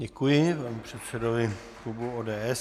Děkuji panu předsedovi klubu ODS.